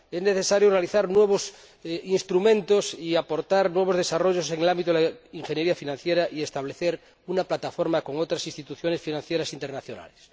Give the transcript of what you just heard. Es necesario realizar nuevos instrumentos y aportar nuevos desarrollos en el ámbito de la ingeniería financiera y establecer una plataforma con otras instituciones financieras internacionales.